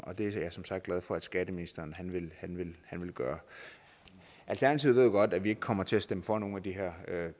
og det er jeg som sagt glad for at skatteministeren vil gøre alternativet ved jo godt at vi ikke kommer til at stemme for nogen af de her